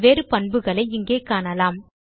பல் வேறு பண்புகளை இங்கே காணலாம்